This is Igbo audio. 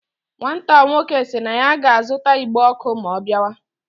Nwata nwoke si na ya ga azuta igbe oku ma o biawa